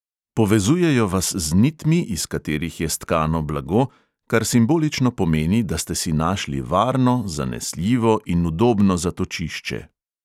Povezujejo vas z nitmi, iz katerih je stkano blago, kar simbolično pomeni, da ste si našli varno, zanesljivo in udobno zatočišče.